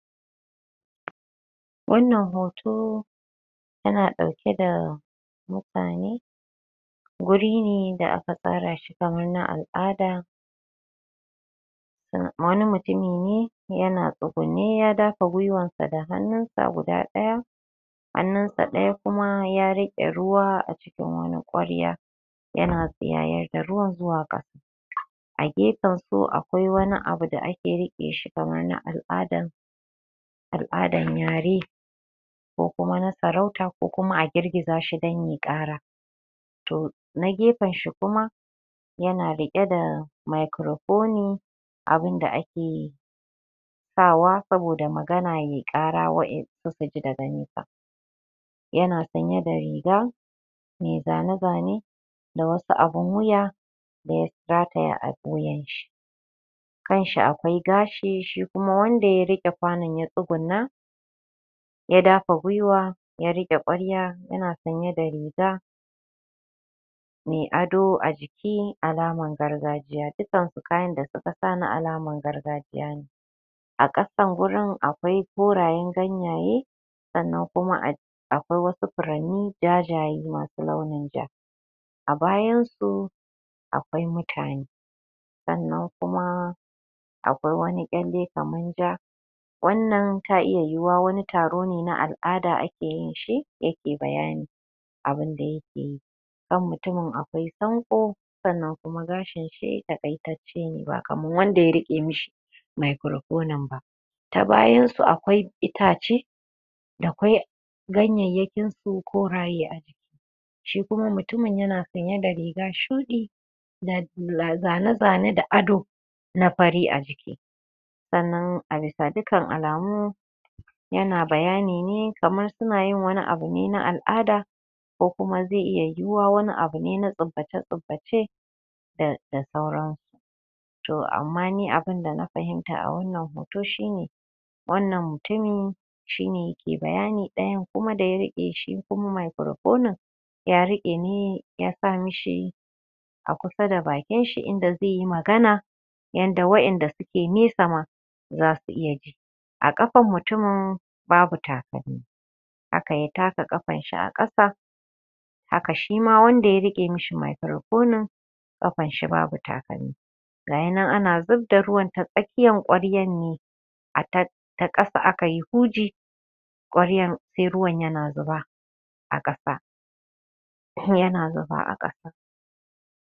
Wannan hoto yana ɗauke da mutane guri ne da aka tsara shi kaman na al'ada wani mutumi ne yana tsugunne ya dafa gwiwansa da hannun sa guda ɗaya hannunsa ɗaya kuma ya riƙe ruwa a cikin wani ƙwarya yana tsiyayar da ruwa zuwa ƙasa a gefensu akwai wani abu da a ke riƙe shi kamar na al'adan al'adan yare ko kuma na saurata ko kuma a girgiza shi don ye ƙara toh na gefen shi kuma yana riƙe da makirofoni abunda akeyi sawa saboda magana ye ƙara wa'in suka ji daga nesa yana sanye da riga mai zane-zane da wasu abun wuya da ya sakaya a wuyanshi kanshi akwai gashi shi kuma wanda ya riƙe kwanon ya tsugunna ya dafa gwiwa ya riƙe ƙwarya yana sanye da riga mai ado a jiki alaman gargajiya dukansu kayan da suka sa na alaman gargajiya ne a ƙasan gurin akwai korayen ganyaye sannan kuma a akwai wasu furanni jajaye masu launin ja a bayansu akwai mutane sannan kuma akwai wani ƙyalle kaman jaa wannan ta iya yiyiwa wani taro ne na al'ada ake ke yinshi yake bayani abunda yake yi kan mutumin akwai sanƙo sannan kuma gashin shi taƙaitacce ne ba kamar wanda ya riƙe mishi makirofonin ba ta bayansu akwai itace da kwai ganyeyyakin su koraye a shi kuma yana sanye da riga shuɗi zane-zane da ado na fari a jiki sannan a bisa dukkan alamu yana bayani ne kaman suna yin wani abune na al'ada ko kuma zai iya yiwuwa wani abune na tsubbace-tsubbace da da sauransu toh amma ni abunda na fahimta a wannan hoto shi ne wannan mutumi shi ne yake bayani ɗayan kuma da ya riƙe shi kuma makirofonin ya riƙe ne yasa mishi a kusa da bakin shi inda zaiyi magana yadda wa'inda suke nesa ma zasu iya ji a ƙafan mutumin babu takalmi haka ya taka ƙafanshi a ƙasa haka shima wanda ya riƙe mishi makirofonin ƙafanshi babu takalmi gayi nan ana zubda ruwan ta tsaƙiyan ƙwaryan ne a ta ta ƙasa akayi huji ƙwaryan sai ruwan yana zuba a ƙasa ko yana zuba a ƙasa